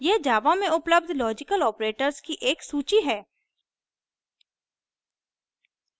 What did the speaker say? यहाँ java में उपलब्ध logical operators की एक सूची है